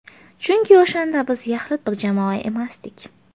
Chunki o‘shanda biz yaxlit bir jamoa emasdik.